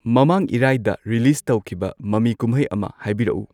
ꯃꯃꯥꯡ ꯏꯔꯥꯏꯗ ꯔꯤꯂꯤꯁ ꯇꯧꯈꯤꯕ ꯃꯃꯤ ꯀꯨꯝꯍꯩ ꯑꯃ ꯍꯥꯏꯕꯤꯔꯛꯎ